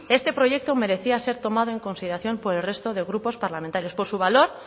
este proyecto merecía ser tomado en consideración por el resto de grupos parlamentarios por su valor